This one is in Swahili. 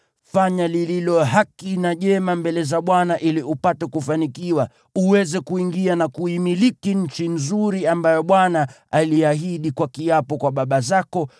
Fanya lililo haki na jema mbele za Bwana , ili upate kufanikiwa, uweze kuingia na kuimiliki nchi nzuri ambayo Bwana aliahidi kwa kiapo kwa baba zako,